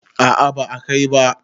a a ba a Kai ba